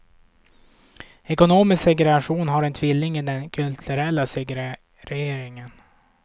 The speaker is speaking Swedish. Ekonomisk segregation har en tvilling i den kulturella segregeringen.